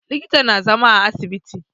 Likita na zama a asibiti